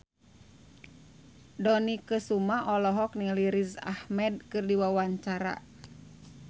Dony Kesuma olohok ningali Riz Ahmed keur diwawancara